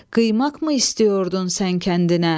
Qıymaqmı istiyordu sən kəndinə?